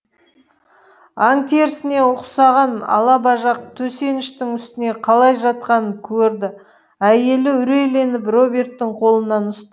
аң терісіне ұқсаған алабажақ төсеніштің үстіне қалай жатқанын көрді әйелі үрейленіп роберттің қолынан ұст